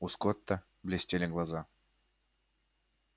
у скотта блестели глаза